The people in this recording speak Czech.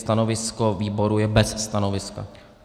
Stanovisko výboru je bez stanoviska.